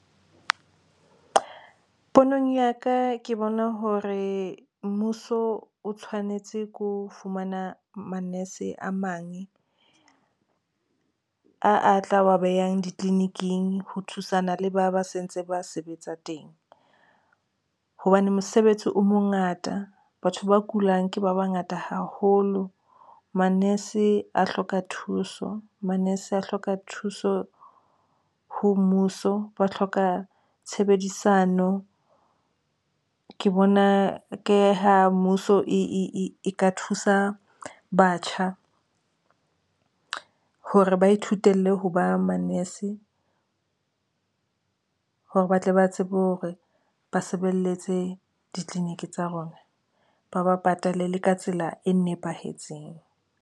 Ponong ya ka ke bona hore mmuso o tshwanetse ko fumana manese a mang a a tla wa behang ditleliniking ho thusana le ba ba se ntse ba sebetsa teng hobane mosebetsi o mongata batho ba kulang ke ba bangata haholo. Manese a hloka thuso manese a hloka thuso ho mmuso. Ba hloka tshebedisano ke bona ke ho mmuso e ka thusa batjha hore ba ithutele ho ba manese hore ba tle ba tsebe hore ba sebeletse ditleliniki tsa rona, ba ba patale le ka tsela e nepahetseng.